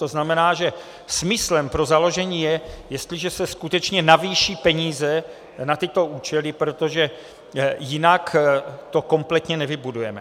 To znamená, že smyslem pro založení je, jestliže se skutečně navýší peníze na tyto účely, protože jinak to kompletně nevybudujeme.